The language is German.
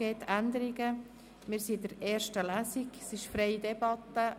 Wir befinden uns in der ersten Lesung und führen eine freie Debatte.